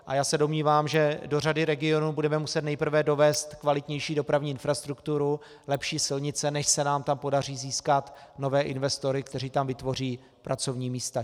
A já se domnívám, že do řady regionů budeme muset nejprve dovést kvalitnější dopravní infrastrukturu, lepší silnice, než se nám tam podaří získat nové investory, kteří tam vytvoří pracovní místa.